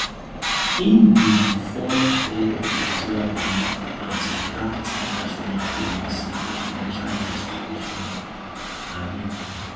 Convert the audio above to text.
im be di former head of equatorial guinea antigraft national agency for financial investigation anif